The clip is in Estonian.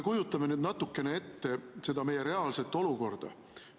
Kujutame nüüd natukene ette seda meie reaalset olukorda.